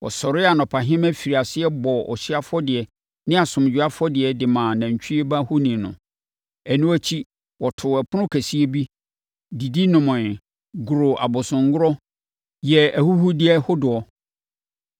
Wɔsɔree anɔpahema firii aseɛ bɔɔ ɔhyeɛ afɔdeɛ ne asomdwoeɛ afɔdeɛ de maa nantwie ba ohoni no. Ɛno akyi, wɔtoo ɛpono kɛseɛ bi, didi nomee, goroo abosomgorɔ, yɛɛ ahuhudeɛ hodoɔ.